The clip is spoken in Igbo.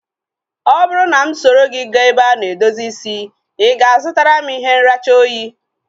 Ọ bụrụ na mụ soro gị gaa ebe a na-edozi isi, i ga-azutara m ihe nracha oyi?